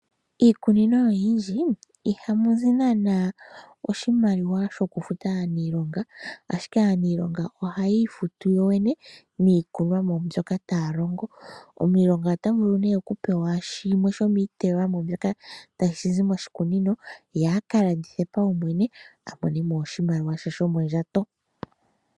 Iikunino oyindji ihamu zi naana oshimaliwa shokufuta aaniilonga ashike aanilonga ohaya ifutu yoyene niikonomwa mbyoka taya longo. Omuniilonga ota vulu nee okupewa shimwe shomiiteywamo mbyoka tashi zi moshikunino ye a ka landithe paumwene a mone mo oshimaliwa she shomondjato.